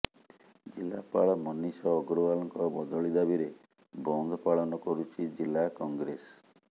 ଜିଲ୍ଲାପାଳ ମନୀଷ ଅଗ୍ରୱାଲଙ୍କ ବଦଳି ଦାବିରେ ବନ୍ଦ ପାଳନ କରୁଛି ଜିଲ୍ଲା କଂଗ୍ରେସ